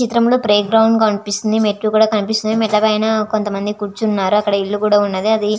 చిత్రం లో playground కనిపిస్తూ వుంది మెట్లు కూడా కనిపిస్తూ వుంది. మెట్ల పైన కొంత మంది కురుచునారు అక్కడ ఇల్లు కూడా వున్నది. అధి--